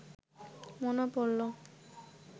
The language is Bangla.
মনে পড়ল